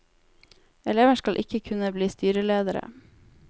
Elever skal ikke kunne bli styreledere.